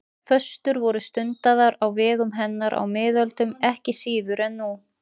Föstur voru stundaðar á vegum hennar á miðöldum ekki síður en nú.